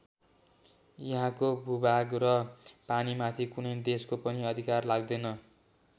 यहाँको भूभाग र पानीमाथि कुनै देशको पनि अधिकार लाग्दैन।